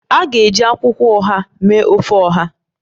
A ga-eji akwukwo oha mee ofe Oha